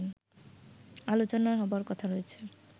আলোচনা হবার কথা রয়েছে